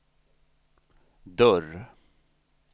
dörr